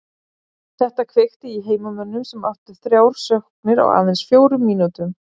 Þetta kveikti í heimamönnum sem áttu þrjár sóknir á aðeins fjórum mínútum.